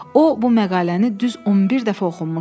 O bu məqaləni düz 11 dəfə oxumuşdu.